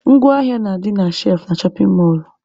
Ngwa ahịa na-adị na shelfụ na shọpin mọlụ..